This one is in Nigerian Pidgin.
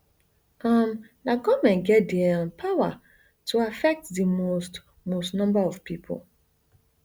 um na goment get di um power to affect di most most number of pipo